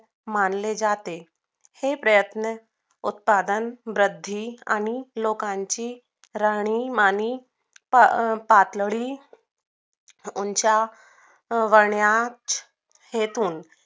मानले जाते हे प्रयत्न उत्पादन वृद्धी आणि लोकांची राहणीमान अं पातळी उंचावण्यास घेतून